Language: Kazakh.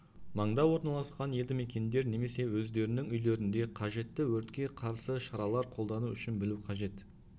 маңда орналасқан елді мекендер немесе өздерінің үйлерінде қажетті өртке қарсы шаралар қолдану үшін білу қажет